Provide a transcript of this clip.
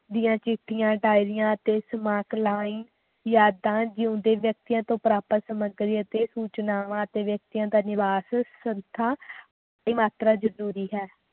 ਦੀਆਂ ਚਿੱਠੀਆਂ ਦਯਾਰੀਆਂ ਅਤੇ ਸਮਕਾਲੀਨ ਯਾਦਾਂ ਜੀਓੰਦੇ ਜਗਦਿਆਂ ਤੋਂ ਪ੍ਰਾਪਤ ਸਮਗਰੀ ਅਤੇ ਸੂਚਨਾਵਾਂ ਅਤੇ ਵਿਅਕਤੀਆਂ ਦਾ ਨਿਵਾਸ ਸੰਸਥਾ ਦੀ ਮਾਤਰਾ ਜਰੂਰੀ ਹੈ